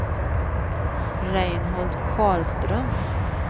Reinhold Karlström